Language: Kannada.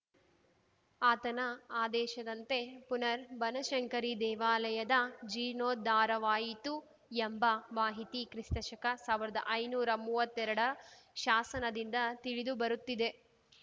ಆತನ ಆದೇಶದಂತೆ ಪುನರ್‌ ಬನಶಂಕರಿ ದೇವಾಲಯದ ಜೀರ್ಣೋದ್ಧಾರವಾಯಿತು ಎಂಬ ಮಾಹಿತಿ ಕಿಸ್ತಶಕಸಾವಿರದಾ ಐನೂರ ಮೂವತ್ತೆರಡ ಶಾಸನದಿಂದ ತಿಳಿದು ಬರುತ್ತಿದೆ